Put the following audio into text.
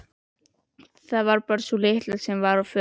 Það var bara sú litla sem var á förum.